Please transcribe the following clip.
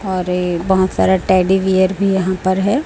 और ए बहोत सारा टेडी बियर भी यहां पर है।